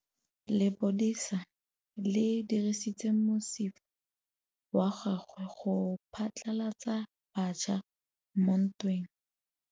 Lepodisa le dirisitse mosifa wa gagwe go phatlalatsa batšha mo ntweng.